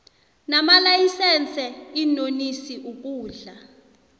namalayisense iinonisi ukudla